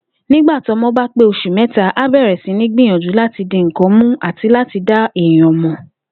Nígbà tọ́mo̩ bá pé os̩ù mé̩ta, a bè̩rè̩ sí ní gbìyànjú láti di nǹkan mú àti láti dá èèyàn mò̩